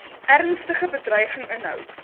ernstige bedreiging inhou